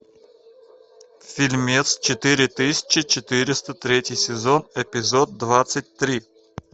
фильмец четыре тысячи четыреста третий сезон эпизод двадцать три